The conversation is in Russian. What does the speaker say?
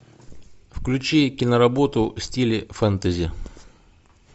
включи киноработу в стиле фэнтези